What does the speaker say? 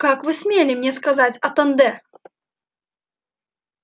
как вы смели мне сказать атанде